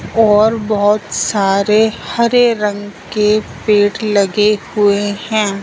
और बहुत सारे हरे रंग के पेड़ लगे हुए हैं।